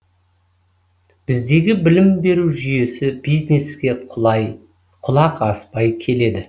біздегі білім беру жүйесі бизнеске құлақ аспай келеді